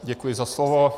Děkuji za slovo.